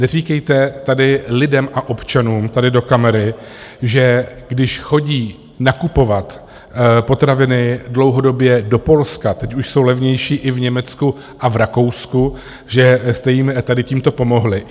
Neříkejte tady lidem a občanům tady do kamery, že když chodí nakupovat potraviny dlouhodobě do Polska - teď už jsou levnější i v Německu a v Rakousku - že jste jim tady tímto pomohli.